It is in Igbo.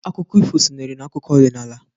Akụkọ ifu sonyere n'akụkọ ọdịnnala.